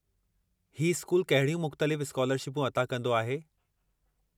हीउ स्कूल कहिड़ियूं मुख़्तलिफ़ु स्कालरशिपूं अता कंदो आहे?